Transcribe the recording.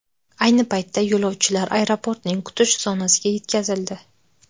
Ayni paytda yo‘lovchilar aeroportning kutish zonasiga yetkazildi.